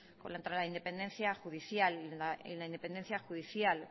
contra la independencia judicial y la independencia judicial